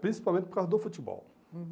Principalmente por causa do futebol. Uhum